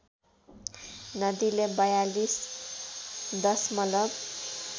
नदीले ४२ दशमलब